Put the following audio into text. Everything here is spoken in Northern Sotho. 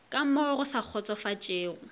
ka mo go sa kgotsofatšego